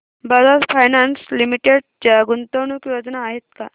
Bajaj finance limited च्या गुंतवणूक योजना आहेत का